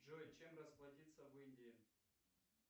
джой чем расплатиться в индии